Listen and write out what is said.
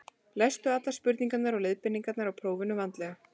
Lestu allar spurningar og leiðbeiningar í prófinu vandlega.